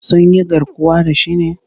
Sun yi garkuwa da shi ne?